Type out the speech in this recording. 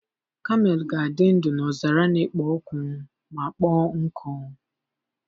Kamel ga-adị ndụ n'ọzara na-ekpo ọkụ ma kpọọ nkụ.